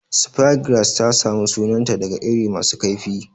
Speargrass ta samu sunanta daga iri masu kaifi.